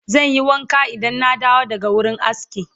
zanyi wanka Idan na dawo daga wurin aski